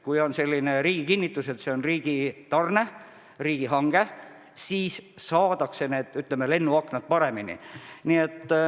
Kui on riigi kinnitus, et see on riigihange, siis saadakse lennuaknad paremini.